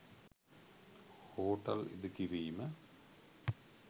hotel ඉදිකිරීම